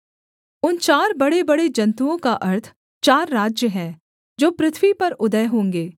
उन चार बड़ेबड़े जन्तुओं का अर्थ चार राज्य हैं जो पृथ्वी पर उदय होंगे